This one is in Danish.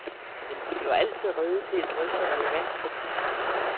Men vi er jo altid rede til at drøfte relevant kritik.